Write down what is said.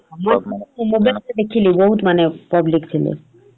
ମୁଁ mobile ରେ ଦେଖିଲି ବହୁତ୍ ମାନେ public ଥିଲେ ।